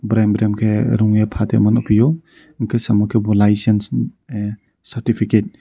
bereng borong ke rongye patimono nogphio hingke samo kebo lai sim sim certificate.